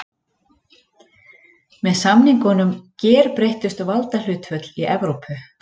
Með samningunum gerbreyttust valdahlutföll í Evrópu.